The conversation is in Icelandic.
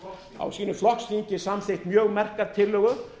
hefur á sínu flokksþingi samþykkt mjög merka tillögu